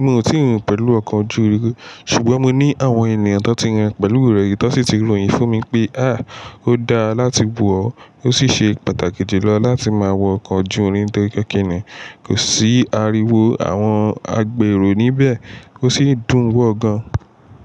Mi ò ti rìn pẹ̀lú ọkọ̀ ojú irin rí. Ṣùgbọ́n mo ní àwọn ènìyàn tó ti rìn pẹ̀lú rẹ̀ yìí, tó sì ti ròyìn fún mi pé Ó dáa láti wọ̀ ọ́. Ó sì ṣe pàtàkì jùlọ láti máa wọ ọkọ̀ ojú irin nitoripe kìnní? Kò sì ariwo àwọn agbèrò níbẹ̀, ó sì dùn wọ̀ gan-an.